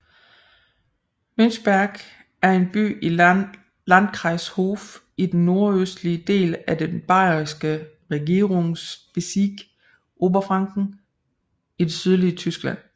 Münchberg er en by i Landkreis Hof i den nordøstlige del af den bayerske regierungsbezirk Oberfranken i det sydlige Tyskland